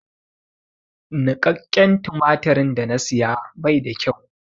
Niƙaƙƙen tumatirin da na saya bai da kyau.